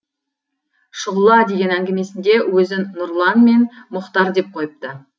шұғыла деген әңгімесінде өзін нұрлан мен мұхтар деп қойыпты